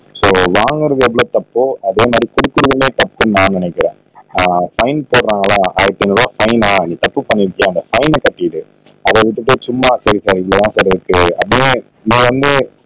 so வாங்குறது எவ்வளவு தப்போ அதேமாதிரி குடுக்குறதுமே தப்புன்னு நான் நினைக்கிறேன் ஆனா ஃபைன் போடுறாங்களா ஆயிரத்தி ஐந்நூறு ரூபாய் ஃபைனா நீ தப்பு பன்னிருக்காய் அந்த ஃபைன கட்டிரு அத விட்டுட்டு சும்மா போலீஸ்